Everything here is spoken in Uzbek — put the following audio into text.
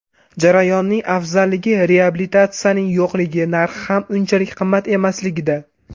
Jarayonning afzalligi reabilitatsiyaning yo‘qligi, narxi ham unchalik qimmat emasligida.